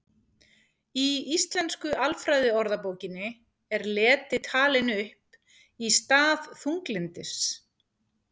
Í Íslensku alfræðiorðabókinni er leti talin upp í stað þunglyndis.